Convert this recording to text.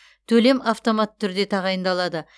төлем автоматты түрде тағайындалады